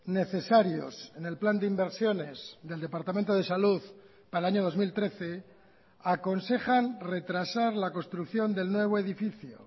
necesarios en el plan de inversiones del departamento de salud para el año dos mil trece aconsejan retrasar la construcción del nuevo edificio